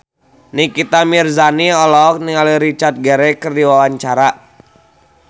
Nikita Mirzani olohok ningali Richard Gere keur diwawancara